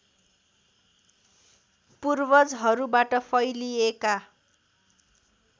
पूर्वजहरूबाट फैलिएका